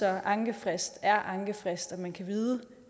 at ankefrist er ankefrist så man kan vide